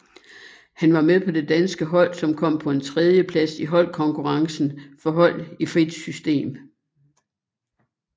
Han var med på det danske hold som kom på en tredjeplads i holdkonkurrencen for hold i frit system